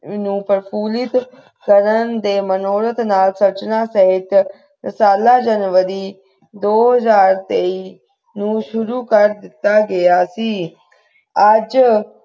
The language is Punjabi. ਨੂੰ ਪ੍ਰਫੁੱਲਿਤ ਕਰਨ ਦੇ ਮਨੋਰਥ ਨਾਲ ਸਿਰਜਣਾ ਸਾਹਿਤ ਰਸਾਲਾ january ਦੋ ਹਜਾਰ ਤੇਈ ਨੂੰ ਸ਼ੁਰੂ ਕਰ ਦਿੱਤਾ ਗਿਆ ਸੀ ਆਜ